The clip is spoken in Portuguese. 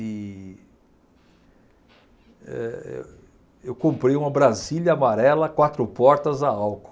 E eh, eh, eu comprei uma brasília amarela, quatro portas a álcool.